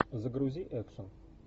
загрузи экшн